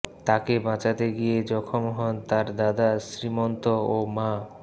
তাঁকে বাঁচাতে গিয়ে জখম হন তাঁর দাদা শ্রীমন্ত ও মা